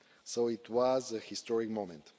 So it was a historic moment.